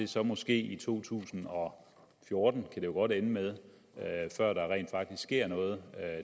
så måske to tusind og fjorten kan det jo godt ende med før der rent faktisk sker noget